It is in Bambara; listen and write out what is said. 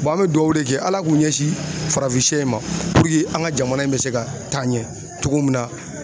an bɛ duwawu de kɛ Ala k'u ɲɛsin farafinsɛ in ma puruke an ka jamana in bɛ se ka taa ɲɛ cogo min na